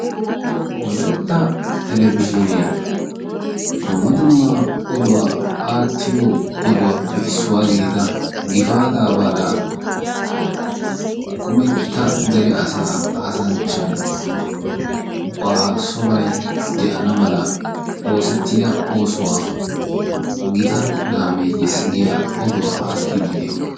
woalytta talabijinee aatiyo oduwappe issuwa gidida giffatta baalay dere baala gidanaw ootido oosuwani daro laame yiisi yaagiyaga oddidi deessi.